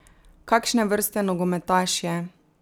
Kakšne vrste nogometaš je?